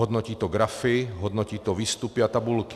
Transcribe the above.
Hodnotí to grafy, hodnotí to výstupy a tabulky.